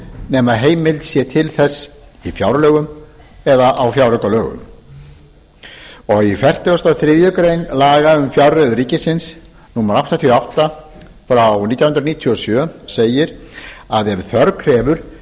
nema heimild sé til þess í fjárlögum eða á fjáraukalögum í fertugustu og þriðju grein laga um fjárreiður ríkisins númer áttatíu og átta nítján hundruð níutíu og sjö segir að ef þörf krefur